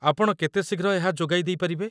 ଆପଣ କେତେ ଶୀଘ୍ର ଏହା ଯୋଗାଇ ଦେଇପାରିବେ?